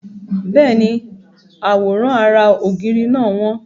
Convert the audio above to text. Bẹ́ẹ̀ni, àwòrán ara ògiri náà wọ́n.